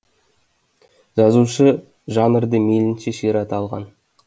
жазушы жанрды мейлінше ширата алған